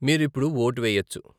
మీరు ఇప్పుడు వోట్ వెయ్యొచ్చు.